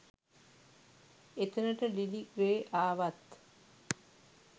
එතනට Lily Grey ආවත්